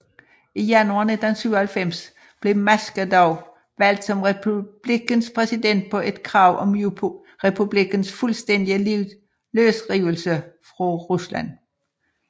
I januar 1997 blev Maskhadov valgt som republikkens præsident på et krav om republikkens fuldstændige løsrivelse fra Rusland